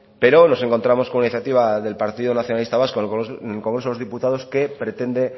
pero nos encontramos con una iniciativa del partido nacionalista vasco en el congreso de los diputados que pretende